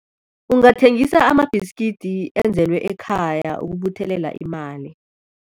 Ungathengisa amabhiskidi enzelwe ekhaya ukubuthelela imali.